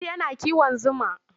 Audu yana kiwon zuma.